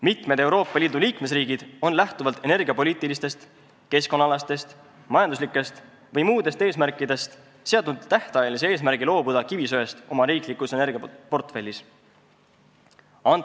Mitmed Euroopa Liidu liikmesriigid on lähtuvalt energiapoliitilistest, keskkonnaalastest, majanduslikest või muudest eesmärkidest seadnud tähtajalise eesmärgi loobuda oma riiklikus energiaportfellis kivisöest.